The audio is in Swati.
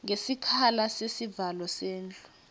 ngesikhala sesivalo sendlu